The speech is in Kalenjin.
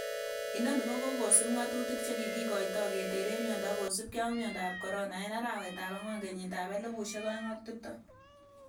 Inoni kokosiib ngatutik che kikitoi keteren miondo kosiibge ak miondab corona en arawetab angwan kenyitab 2020.